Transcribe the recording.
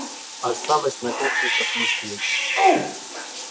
осталось на кухне посмотреть